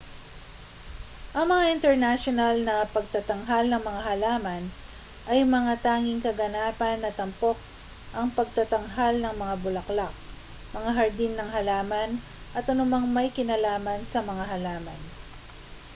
ang mga internasyonal na pagtatanghal ng mga halaman ay mga tanging kaganapan na tampok ang pagtatanghal ng mga bulaklak mga hardin ng halaman at anumang may kinalaman sa mga halaman